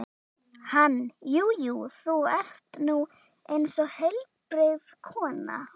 Hann: Jú jú, þú ert nú eins og heilbrigð kona.